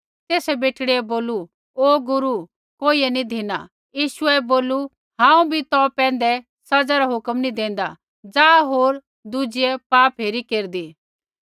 तेसै बेटड़ी बोलू ओ गुरू कोइयै नैंई धिनी यीशुऐ बोलू हांऊँ भी तौ पैंधै सज़ा रा हुक्म नी देंदा जा होर दुजिये पाप हेरी केरदी